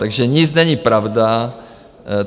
Takže nic není pravda.